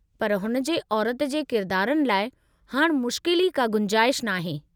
पर हुन जे औरति जे किरदारनि लाइ हाणि मुश्किल ई का गुंजाइश नाहे।